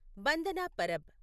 Bandna Parab